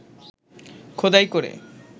খোদাই করে